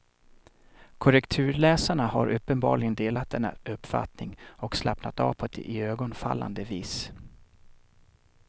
Korrekturläsarna har uppenbarligen delat denna uppfattning och slappnat av på ett iögonenfallande vis.